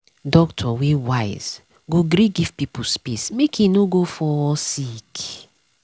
doctor wey wise go gree give pipo space make e no go fall sick.